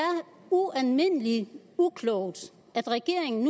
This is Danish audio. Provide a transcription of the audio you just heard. ualmindelig uklogt at regeringen